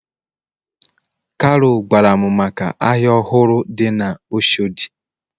kalu gwaram maka ahia ohuru di na oshodi.